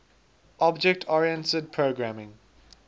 object oriented programming